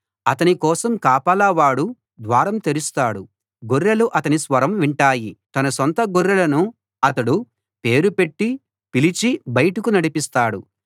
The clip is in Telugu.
అతని కోసం కాపలావాడు ద్వారం తెరుస్తాడు గొర్రెలు అతని స్వరం వింటాయి తన సొంత గొర్రెలను అతడు పేరు పెట్టి పిలిచి బయటకు నడిపిస్తాడు